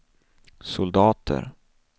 soldater